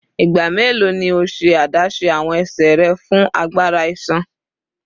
Igba melo ni o ṣe adaṣe awọn ẹsẹ rẹ fun agbara iṣan?